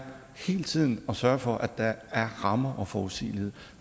hele tiden at sørge for at der er rammer og forudsigelighed